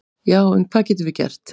"""Já, en hvað getum við gert?"""